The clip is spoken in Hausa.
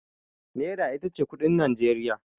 Nera ita ce kuɗin Najeriya.